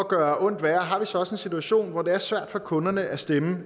gøre ondt værre har vi så også en situation hvor det er svært for kunderne at stemme